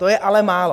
To je ale málo.